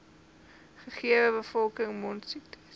gegewe bevolking mondsiektes